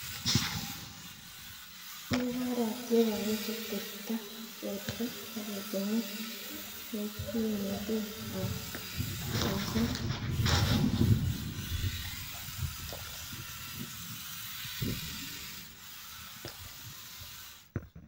Kobor atia kowech ateptoab borto ak etunet koek pimanet ab nyigisindo.